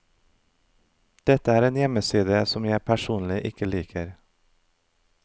Dette er en hjemmeside som jeg personlig ikke liker.